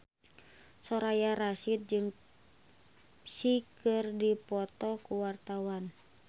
Soraya Rasyid jeung Psy keur dipoto ku wartawan